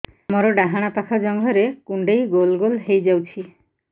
ମୋର ଡାହାଣ ପାଖ ଜଙ୍ଘରେ କୁଣ୍ଡେଇ ଗୋଲ ଗୋଲ ହେଇଯାଉଛି